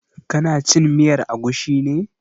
Ka na cin miyar agushi ne?